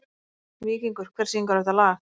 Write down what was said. Víkingur, hver syngur þetta lag?